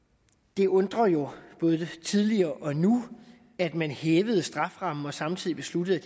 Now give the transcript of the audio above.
det undrer jo både tidligere og nu at man hævede strafferammen og samtidig besluttede